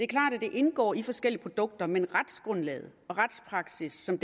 klart at det indgår i forskellige produkter men retsgrundlaget og retspraksis som